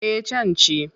Eh can ci.